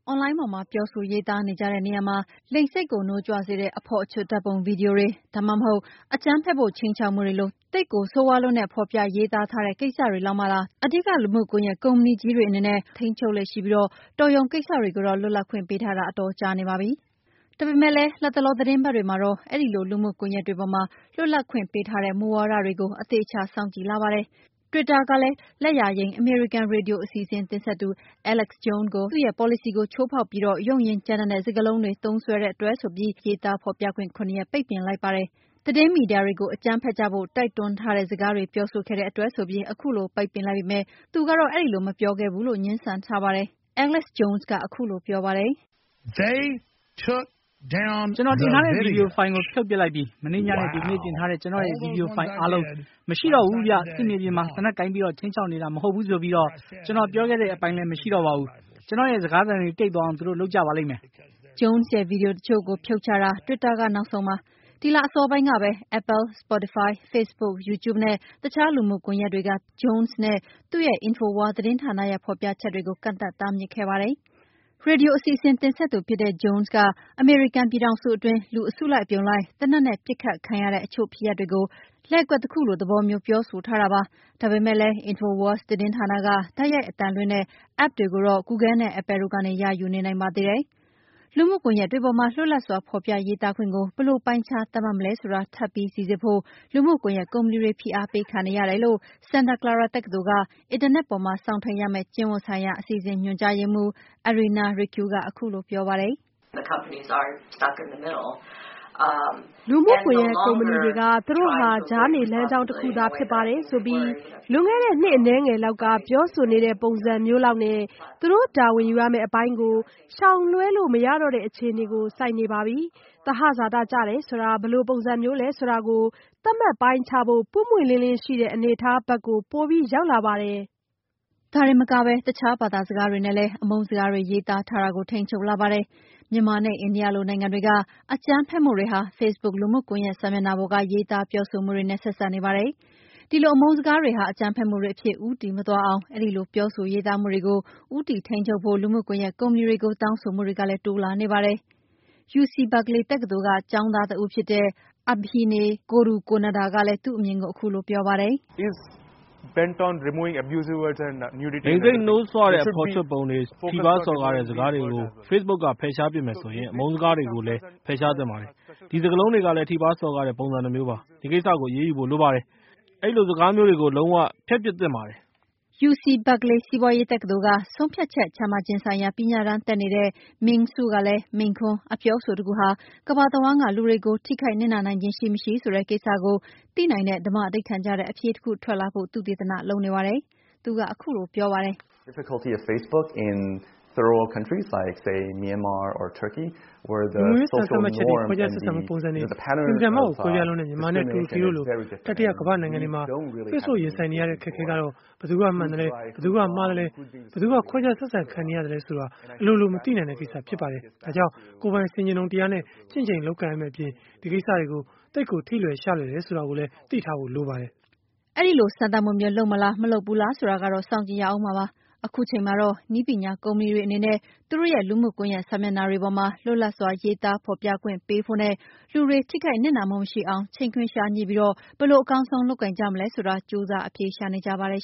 အွန်လိုင်းပေါ်မှာ ပြောဆိုရေးသားနေကြတဲ့နေရာမှာ လိင်စိတ်ကို နှိုးကြွစေတဲ့ အဖော်အချွတ် ဓာတ်ပုံဗွီဒီယိုတွေ၊ ဒါမှမဟုတ် အကြမ်းဖက်ဖို့ ခြိမ်းခြောက်မှုတွေလို သိပ်ဆိုးရွားလွန်းတဲ့ ဖော်ပြရေးသားတဲ့ ကိစ္စတွေလောက်မှသာအဓိကလူမှုကွန်ယက်ကုမ္ပဏီကြီးတွေအနေနဲ့ ထိန်းချုပ်လေ့ရှိပြီး တော်ရုံကိစ္စတွေကိုတော့ လွတ်လပ်ခွင့်ပေးထားတာ အတော်ကြာနေပါပြီ။ ဒါပေမယ့်လည်း လတ်တလောသီတင်းပတ်တွေမှာတော့ အဲဒီလို လူမှုကွန်ယက်တွေပေါ်မှာလွတ်လပ်ခွင့်ပေးထားတဲ့ မူဝါဒတွေကို အသေအချာစောင့်ကြည့်လာကြပါတယ်။ လက်ယာယိမ်းအမေရိကန် ရေဒီယိုအစီအစဉ်တင်ဆက်သူ Alex Jones ဟာ တွစ်တာလူမှုကွန်ယက်ကုမ္ပဏီရဲ့ ပေါ်လစီကို ချိုးဖောက်ပြီး ရုန့်ရင်းကြမ်းတမ်းတဲ့ စကားလုံးတွေသုံးစွဲတဲ့အတွက်ဆိုပြီး တွစ်တာရဲ့ စာမျက်နှာမှာ ရေးသားဖော်ပြခွင့် ၇ ရက်ပိတ်ပင်လိုက်ပါတယ်။ သတင်းမီဒီယာတွေကို အကြမ်းဖက်ကြဖို့ တိုက်တွန်းလိုက်ထားတဲ့ စကားတွေပြောဆိုခဲ့တဲ့အတွက်ဆိုပြီး ခုလိုပိတ်ပင်လိုက်ပေမယ့် Jones ကတော့ အဲဒီလိုမပြောခဲ့ဘူးဆိုပြီး ငြင်းဆန်ပါတယ်။ "ကျနော်တင်ထားတဲ့ ဗွီဒီယိုဖိုင်ကို ဖြုတ်ပစ်လိုက်ပြီ။ မနေ့ညနဲ့ ဒီကနေ့ တင်ထားတဲ့ ကျနော့်ရဲ့ ဗွီဒီယိုဖိုင်အားလုံး မရှိတော့ဘူးဗျ။ စစ်မြေပြင်မှာ သေနတ်ကိုင်ပြီး ခြိမ်းချောက်နေတာမဟုတ်ဘူးဆိုပြီး ကျနော်ပြောခဲ့တဲ့အပိုင်းလည်းမရှိတော့ဘူး။ ကျနော့်ရဲ့ စကားသံတွေ တိတ်သွားအောင် သူတို့လုပ်ကြလိမ့်မယ်" Jones ရဲ့ ဗွီဒီယိုတချို့ကို ဖြုတ်ချတာ တွစ်တာက နောက်ဆုံးပါ။ ဒီလအစောပိုင်းကပဲ Apple, Spotify, Facebook, You Tube နဲ့ အခြားလူမှုကွန်ယက်တွေက သူတို့ကုမ္ပဏီပေါ်က Jones နဲ့ သူ့ရဲ့ InfoWars သတင်းဌာနရဲ့ ဖော်ပြချက်တွေကို ကန့်သတ်တားမြစ်ခဲ့ပါတယ်။ ရေဒီယိုအစီအစဉ်တင်ဆက်သူဖြစ်တဲ့ Jones က အမေရိကန်ပြည်ထောင်စုအတွင်း လူအစုလိုက်အပြုံလိုက် သေနတ်နဲ့ပစ်ခတ်ခံရတဲ့ အချို့ဖြစ်ရပ်တွေကို လှည့်ကွက်တခုလို သဘောမျိုး ပြောဆိုထားတာပါ။ ဒါပေမယ့်လည်း InfoWars သတင်းဌာနက တိုက်ရိုက်အသံလွှင့်တဲ့ App တွေကိုတော့ Google နဲ့ Apple တို့ကနေ ရာယူနေနိုင်ပါသေးတယ်။ လူမှုကွန်ယက်တွေပေါ်မှာ လွတ်လပ်စွာ ဖော်ပြရေးသားခွင့်ကို ဘယ်လို ပိုင်းခြား သတ်မှတ်မလဲဆိုတာ ထပ်ပြီးစိစစ်ဖို့ လူမှုကွန်ယက်ကုမ္ပဏီတွေ ဖိအားပေးခံနေရတယ်လို့ Santa Clara တက္ကသိုလ်၊ အင်တာနက်ပေါ်မှာ စောင့်ထိမ်းရမယ့်ကျင့်ဝတ်ဆိုင်ရာ အစီအစဉ် ညွှန်ကြားရေးမှုး Irina Raicu ကခုလိုပြောပါတယ်။ "လူမှုကွန်ယက်ကုမ္ပဏီတွေက သူတို့ဟာ ကြားနေလမ်းကြောင်းတခုသာ ဖြစ်ပါတယ်ဆိုပြီး လွန်ခဲ့တဲ့နှစ်အနည်းငယ်လောက်က ပြောဆိုနေတဲ့ပုံစံမျိုးလောက်နဲ့ သူတို့တာဝန်ယူရမယ့် အပိုင်းကို ရှောင်လွဲလို့မရတော့တဲ့အခြေအနေကို ဆိုက်နေပါပြီ။ သဟဇာတကျတယ်ဆိုတာ ဘယ်လိုပုံစံမျိုးလည်းဆိုတာကို သတ်မှတ်ပိုင်းခြားဖို့ ပွင့်ပွင့်လင်းလင်းရှိတဲ့ အနေအထားဘက်ကို ပိုပြီးရောက်လာပါတယ်" ဒါတင်မကပဲ အခြားဘာသာစကားတွေနဲ့ အမုန်းစကားတွေတွေရေးသားတာကိုလည်း ထိန်းချုပ်လာပါတယ်။ မြန်မာနဲ့ အိန္ဒိယလိုနိုင်ငံတွေက အကြမ်းဖက်မှုတွေဟာ ဖေ့ဘုတ်လူမှုကွန်ယက်စာမျက်နှာပေါ်က ရေးသားပြောဆိုမှုတွေနဲ့ ဆက်စပ်နေပါတယ်။ ဒီလို အမုန်းစကားတွေဟာ အကြမ်းဖက်မှုတွေအဖြစ် ဦးတည်မသွားအောင် အဲဒီပြောဆိုရေးသားမှုတွေကို ဦးတည်ပြီး ထိန်းချုပ်ဖို့ လူမှုကွန်ယက်ကုမ္ပဏီတွေကို တောင်းဆိုမှုတွေလည်း တိုးလာနေတာပါ။ UC BERKELEY တက္ကသိုလ်ကျောင်းသား ABHINAY KORUKONDA ကလည်း သူ့အမြင်ကို ခုလိုပြောပါတယ်။ "လိင်စိတ်နှိုးဆွတဲ့ အဖော်အချွတ်ပုံတွေ၊ ထိပါးစော်ကားတဲ့ စကားတွေကို ဖေ့စ်ဘုတ်က ဖယ်ရှားပစ်မယ်ဆိုရင်၊ အမုန်းစကားတွေကိုလည်း ဖယ်ရှားပစ်သင့်ပါတယ်။ ဒီစကားလုံးတွေကလည်း ထိပါးစော်ကားတဲ့ ပုံစံတမျိုးပါ။ ဒီကိစ္စကို အရေးယူဖို့လိုပါတယ်။ အဲဒီလို စကားမျိုးတွေကို လုံး၀ ဖျက်ပစ်သင့်ပါတယ်" UC Berkeley စီးပွါးရေးတက္ကသိုလ်က " ဆုံးဖြတ်ချက်ချမှတ်ခြင်းဆိုင်ရာ" ပညာတန်းတက်နေတဲ့ Ming Hsu ကလည်း မိန့်ခွန်းတခု၊ အပြောအဆိုတခုဟာ ကမ္ဘာတဝှမ်းက လူတွေကို ထိခိုင်နဟ်နာနိုင်ခြင်းရှိမရှိဆိုတဲ့ကိစ္စကို သိနိုင်တဲ့ဓမ္မဓိဌာန်ကျတဲ့ အဖြေတခုထွက်လာဖို့ သုတေသနလုပ်နေပါတယ်။ "လူမှုရေးစံသတ်မှတ်ချက်တွေ၊ ခွဲခြားဆက်ဆံမှုပုံစံတွေ သိပ်ကိုကွဲပြားလွန်းတဲ့ မြန်မာနဲ့တူရကီလို တတိယကမ္ဘာ့နိုင်ငံတွေမှာ ဖေ့ဘုတ်ရင်ဆိုင်နေရတဲ့ အခက်အခဲကတော့ ဘယ်သူကမှန်သလဲ၊ ဘယ်သူကမှားသလဲ၊ ဘယ်သူက ခွဲခြားဆက်ဆံခံနေရသလဲဆိုတာ အလိုလို မသိနိုင်တဲ့ကိစ္စဖြစ်ပါတယ်။ ဒါကြောင့် ကိုယ်ပိုင်ဆင်ခြင်တုံတရားနဲ့ ချင့်ချိန်လုပ်ကိုင်ရမယ့်အပြင် အဲဒီကိစ္စတွေကို သိပ်ကို ထိလွယ်ရှလွယ်လွန်းတယ်ဆိုတာသိထားဖို့လည်းလိုပါတယ်" အဲဒီလို စမ်းသပ်မှုမျိုး လုပ်မလား၊ မလုပ်ဘူးလားဆိုတာကိုလည်း စောင့်ကြည့်ရဦးမှာပါ။ ခုချိန်မှာတော့ နည်းပညာကုမ္ပဏီတွေအနေနဲ့ သူတို့ရဲ့ လူမှုကွန်ယက်စာမျက်နှာပေါ်မှာ လွတ်လပ်စွာရေးသားဖော်ပြခွင့်ပေးတဲ့တချိန်ထဲမှာ လူတွေထိခိုက်နစ်နာမှုမရှိအောင် ချိန်ခွင်လျှာညှိပြီး ဘယ်လို အကောင်းဆုံး လုပ်ကိုင်ကြမလဲဆိုတာ ကြိုးစားအဖြေရှာနေကြပါတယ်